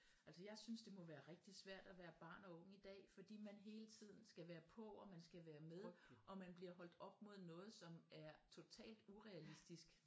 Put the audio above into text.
Altså jeg synes det må være rigtig svært at være barn og ung i dag fordi man hele tiden skal være på og man skal være med og man bliver holdt op mod noget som er totalt urealistisk